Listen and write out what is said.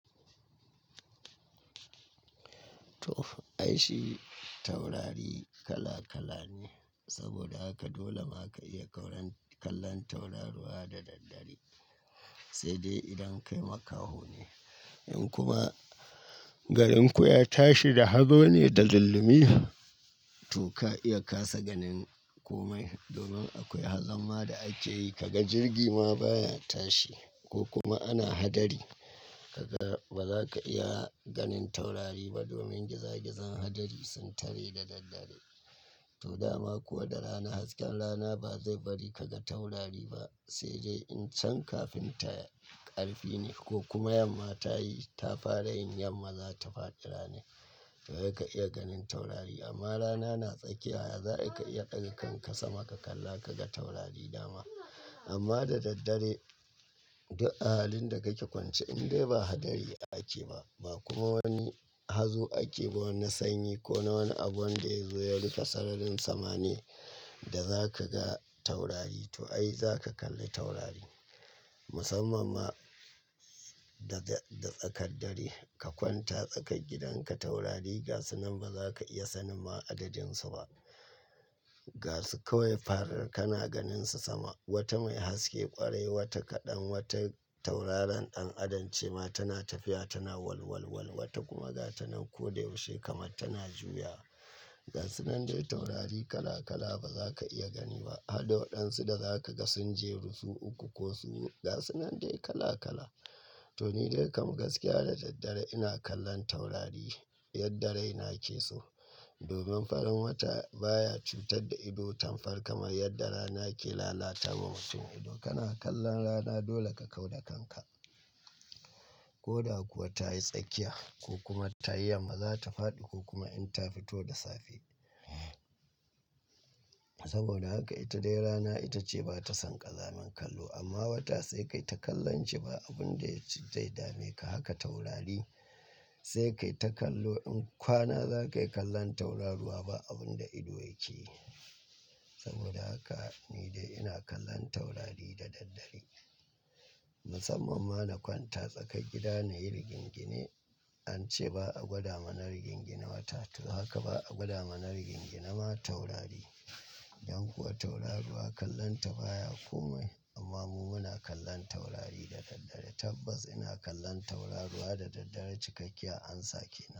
To, ai shi taurari kala kala ne. Saboda haka dole ma ka iya kallon tauraruwa da daddare sai dai idan kai makaho ne, in kuma garinku ya tashi da hazo ne da zullumi, to ka iya kasa ganin komai. Domin akwai hazomma da ake yi, ka ga jirgi ma baya tashi ko kuma ana hadari. Ka ga ba za ka iya ganin taurari ba domin giza-gizan hadari sun tare da daddare. To dama ko da rana, hasken rana ba zai bari ka ga taurari ba sai dai in can kafinta ƙarfi ne ko kuma yamma ta yi, ta fara yin yamma, za ta faɗi rana. To za ka iya ganin taurari amma rana na tsakiya, za ka iya ƙarƙan kasa ma ka kalla ka ga taurari dama. Amma da daddare duk ahalin da kake kwance in dai ba hadari ake ba, ba kuma wani hazo ake ba, wani sanyi ko na wani abu wanda ya zo ya rufe sararin sama ne da za ka ga taurari. To ai za ka kalli taurari. Musamman ma da tsakar dare, ka kwanta tsakar gidan ka, taurari ga su nan ba za ka iya sanin ma adadin su ba. Ga su kawai faar kana ganin su sama. Wata mai haske ƙwarai, wata kaɗan, wata tauraron ɗan adam ce ma tana tafiya tana walwalwal, wata kuma ga ta nan ko da yaushe kamar tana juya. Ga su nan dai taurari kala kala ba za ka iya gani ba. Harda wadansu da za ka ga sun jeru su uku ko su hudu, ga su nan dai kala kala. To ni dai kam gaskiya da daddare ina kallon taurari yadda rai na ke so. Domin farin wata baya cutar da ido tamkar kamar yadda rana ke lalatawa mutum ido kana kallon rana dole ka kau da kanka. Ko da kuwa ta yi tsakiya ko kuma ta yi yamma, za ta faɗi ko kuma in ta fito da safe. Saboda haka ita dai rana ita ce ba ta son ƙazamin kallo amma wata sai kai ta kallon ce ba abun da zai dame ka haka taurari sai kai ta kallo. In kwana za ka yi kallon tauraruwa ba abun da ido yake. Saboda haka ni dai ina kallon taurari da daddare. Musamman ma na kwanta tsakar gida na yi rigingini. An ce ba a gwada mana rigingina wata, to haka ba a gwada mana rigingina ma taurari. Don kuwa tauraruwa kallonta baya komai amma mu muna kallon taurari da daddare. Tabbas ina kallon tauraruwa da daddare cikakkiyar ansa ke.